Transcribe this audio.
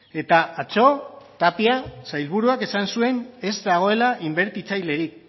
eta atzo tapia sailburuak esan zuen ez dagoela inbertitzailerik